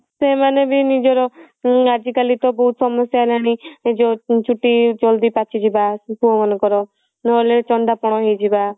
ସେମାନେ ବି ନିଜର ଉଁ ଆଜି କାଲି ତ ବହୁତ ସମସ୍ୟା ହେଲାଣି ଯଉ ଚୁଟି ଜଲଦି ପାଚିଯିବା ପୁଅ ମାନଙ୍କ ର ନହେଲେ ଚନ୍ଦାପଣ ହେଇଯିବା